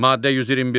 Maddə 121.